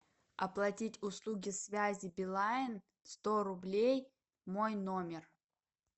оплатить услуги связи билайн сто рублей мой номер